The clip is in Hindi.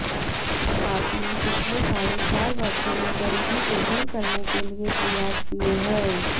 आपने पिछले साढ़े चार वर्षों में गरीबी को दूर करने के लिए प्रयास किए हैं